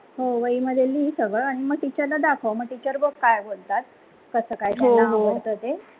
हो वही मध्ये लिह सगळं teacher ला दाखव आणि मग teacher बघ काय बोलतात कसा काय त्यांना आवडत ते